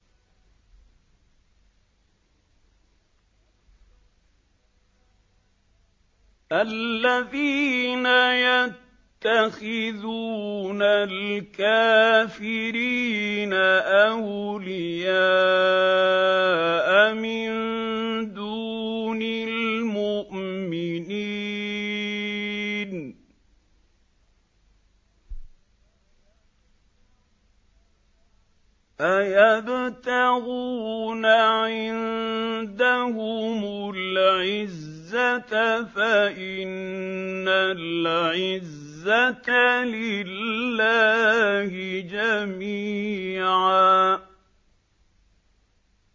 الَّذِينَ يَتَّخِذُونَ الْكَافِرِينَ أَوْلِيَاءَ مِن دُونِ الْمُؤْمِنِينَ ۚ أَيَبْتَغُونَ عِندَهُمُ الْعِزَّةَ فَإِنَّ الْعِزَّةَ لِلَّهِ جَمِيعًا